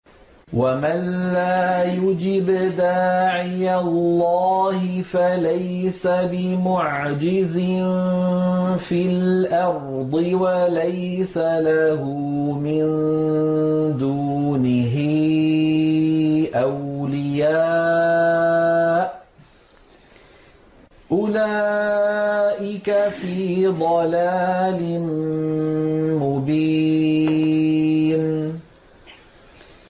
وَمَن لَّا يُجِبْ دَاعِيَ اللَّهِ فَلَيْسَ بِمُعْجِزٍ فِي الْأَرْضِ وَلَيْسَ لَهُ مِن دُونِهِ أَوْلِيَاءُ ۚ أُولَٰئِكَ فِي ضَلَالٍ مُّبِينٍ